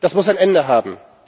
Das muss ein Ende haben!